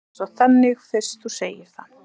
Ég er sjálfsagt þannig fyrst þú segir það.